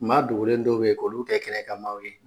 Ma dogen dɔw be ye k'olu tɛ kɛna ka maw ye